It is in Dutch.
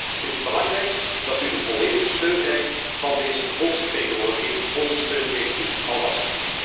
Ik vind het belangrijk dat u de volledige steun krijgt van deze volksvertegenwoordiging, onze steun heeft u alvast.